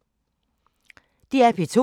DR P2